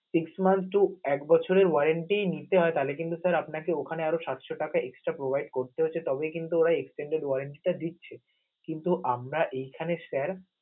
six month two এক বছরের orenty নিতে হয়, তালে কিন্তু sir আপনাকে ওখানে আরও সাতশ টাকা extra provide করতে হচ্ছে, তবেই কিন্তু ওরা extended orenty টা দিচ্ছে, কিন্তু আমরা এই খানে sir